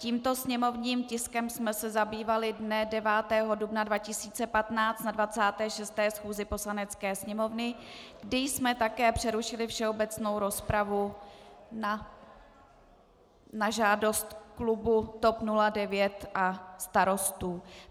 Tímto sněmovním tiskem jsme se zabývali dne 9. dubna 2015 na 26. schůzi Poslanecké sněmovny, kdy jsme také přerušili všeobecnou rozpravu na žádost klubu TOP 09 a Starostů.